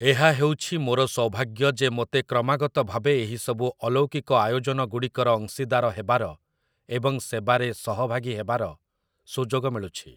ଏହା ହେଉଛି ମୋର ସୌଭାଗ୍ୟ ଯେ ମୋତେ କ୍ରମାଗତ ଭାବେ ଏହିସବୁ ଅଲୌକିକ ଆୟୋଜନଗୁଡ଼ିକର ଅଂଶୀଦାର ହେବାର ଏବଂ ସେବାରେ ସହଭାଗୀ ହେବାର ସୁଯୋଗ ମିଳୁଛି ।